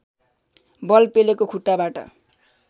बल पेलेको खुट्टाबाट